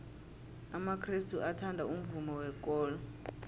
amakrestu athanda umvumo wekolo